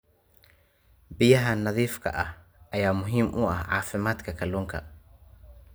Biyaha nadiifka ah ayaa muhiim u ah caafimaadka kalluunka.